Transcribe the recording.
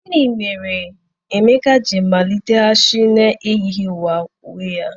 gini mere Emeka ji maliteghachi n'ejighi uwe ya?